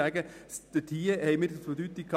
Für uns besteht ein Zusammenhang.